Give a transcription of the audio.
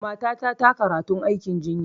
Matata ta karatun aikin jinya